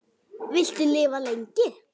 Viltu lifa lengi?